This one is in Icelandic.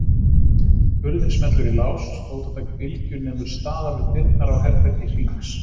Hurðin smellur í lás, fótatak Bylgju nemur staðar við dyrnar á herbergi Hrings.